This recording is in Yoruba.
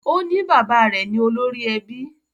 O ní bàbá rẹ̀ ni olórí ẹbí